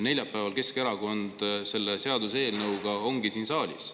Neljapäeval ongi Keskerakond selle seaduseelnõuga siin saalis.